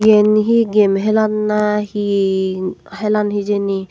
eyan he game helan na he helan hejini.